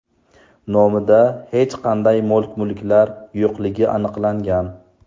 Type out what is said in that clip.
nomida hech qanday mol-mulklar yo‘qligi aniqlangan.